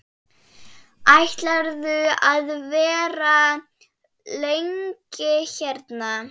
Ætlarðu að vera lengi hérna?